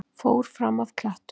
Fór fram af klettum